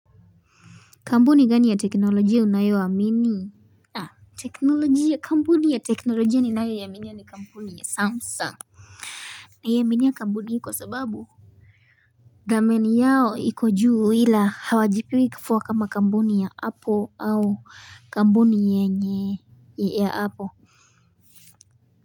Kampuni gani ya teknolojia unayo amini teknolojia Kampuni ya teknolojia ninayo ya iaminia ni Kampuni ya Samsung ninaiaminia Kampuni hii kwa sababu thamani yao iku juu ila hawajipigi kifua kama Kampuni ya apple au Kampuni yenye ya apple.